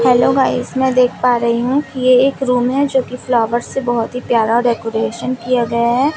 Hello guys मैं देख पा रही हूँ ये एक रूम हैं जो की फ्लावर्स से बहोत ही प्यारा डेकोरेशन किया गया हैं।